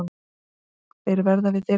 Þeir verða við dyrnar.